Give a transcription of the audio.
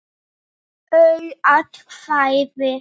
Auð atkvæði